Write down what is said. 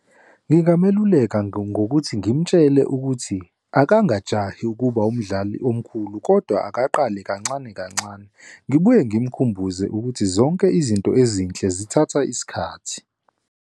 Ngingameluleka ngokuthi ngimtshele ukuthi akangajahi ukuba umdlali omkhulu kodwa akaqali kancane kancane. Ngibuye ngimkhumbuze ukuthi zonke izinto ezinhle zithatha isikhathi.